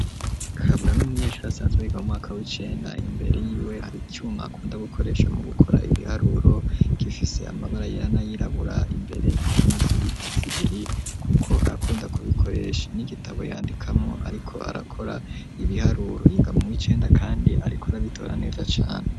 Kabura n'umunyeshure asanzwe yiga mwaka w'icenda imbere y'iwe hari icuma akunda gukoresha mu gukora ibiharuro, gifise amabara yera n'ayirabura imbere ikaramu z'ibiti zibiri kuko arakunda kubikoresha, n'igitabo yandikamwo ariko arakora ibiharuro. Yiga mu wicenda kandi arikora bitora neza cane.